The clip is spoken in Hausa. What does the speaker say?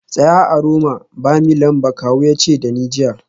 Tsaya a Roma ba Milan ba kawu ya ce da ni jiya